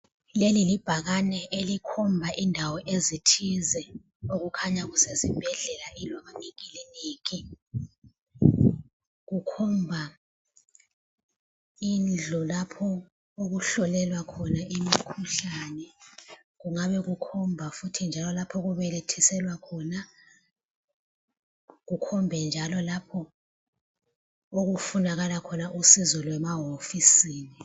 Leli libhakane elikhomba indawo ezithize okukhanya kusesibhedlela loba ikiliniki. Kukhomba indlu lapho okuhlolelwa khona imikhuhlane kungabe kukhomba futhi njalo lapho okubelethiselwa khona kukhombe njalo lapho okufunakala khona usizo lwemahofisini.